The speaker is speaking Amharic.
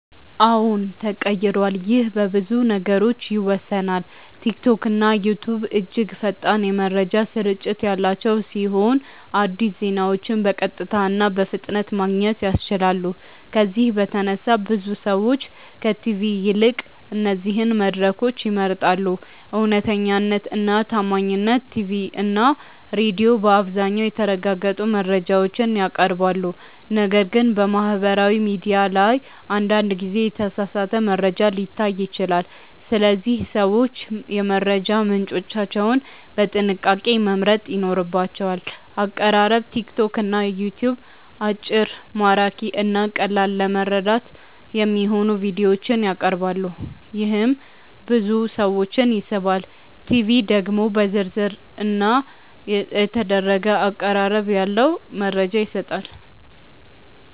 አዎን ተቀይሯል ይህ በብዙ ነገሮች ይወሰናል። ቲክቶክና ዩትዩብ እጅግ ፈጣን የመረጃ ስርጭት ያላቸው ሲሆን አዲስ ዜናዎችን በቀጥታ እና በፍጥነት ማግኘት ያስችላሉ። ከዚህ በተነሳ ብዙ ሰዎች ከቲቪ ይልቅ እነዚህን መድረኮች ይመርጣሉ። እውነተኛነት እና ታማኝነት ቲቪ እና ሬዲዮ በአብዛኛው የተረጋገጡ መረጃዎችን ያቀርባሉ፣ ነገር ግን በማህበራዊ ሚዲያ ላይ አንዳንድ ጊዜ የተሳሳተ መረጃ ሊታይ ይችላል። ስለዚህ ሰዎች የመረጃ ምንጮቻቸውን በጥንቃቄ መምረጥ ይኖርባቸዋል። አቀራረብ ቲክቶክ እና ዩትዩብ አጭር፣ ማራኪ እና ቀላል ለመረዳት የሚሆኑ ቪዲዮዎችን ያቀርባሉ፣ ይህም ብዙ ሰዎችን ይስባል። ቲቪ ደግሞ ዝርዝር እና የተደረገ አቀራረብ ያለው መረጃ ይሰጣል።